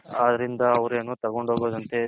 ಅದರಿಂದ ಅವರೇನು ತಗೊಂಡ್ ಹೋಗದ್ ಅಂತೆ.